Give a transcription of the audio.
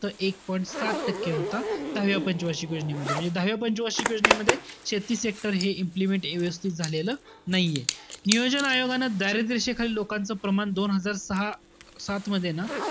एक point सात टक्के होता. सहाव्या पंच वार्षिक योजनेमध्ये. म्हणजे दहाव्या पंच वार्षिक योजनेमध्ये शेती sector हे implement व्यवस्थित झालेलं नाहीये. नियोजन आयोगानं दारिद्र्य रेषेखालील लोकांचं प्रमाण दोन हजार सहा सात मध्ये ना,